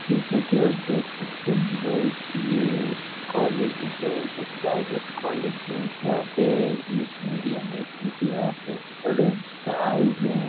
जैसे की आप देख सकते है गाइज ये कोलेज है जो प्राइवेट कोलेज हैं यहाॅं पे इंग्लिस मीडियम है क्यों की यहाँ पे स्टूडेंट आए हुए हैं।